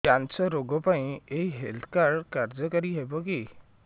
cancer ରୋଗ ପାଇଁ ଏଇ ହେଲ୍ଥ କାର୍ଡ କାର୍ଯ୍ୟକାରି ହେବ କି